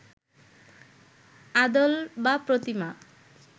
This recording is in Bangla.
আদল বা প্রতিমা